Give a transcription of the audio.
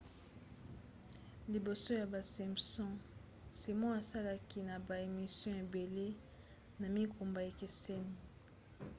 liboso ya basimpsons simon asalaki na ba émissions ebele na mikumba ekeseni